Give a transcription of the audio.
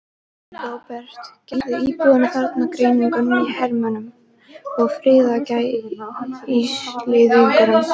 Róbert: Gera íbúarnir þarna greinarmun á hermönnum og friðargæsluliðum?